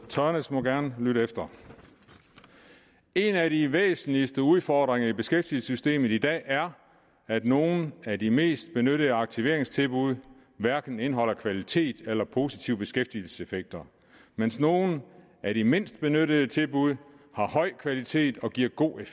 tørnæs må gerne lytte efter en af de væsentligste udfordringer i beskæftigelsessystemet i dag er at nogle af de mest benyttede aktiveringstilbud hverken indeholder kvalitet eller positive beskæftigelseseffekter mens nogle af de mindst benyttede tilbud har høj kvalitet og giver gode